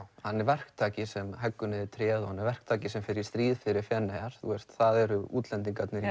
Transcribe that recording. hann er verktaki sem heggur niður tréð og hann er verktaki sem fer í stríð fyrir Feneyjar það eru útlendingarnir í